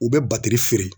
U bɛ batiri feere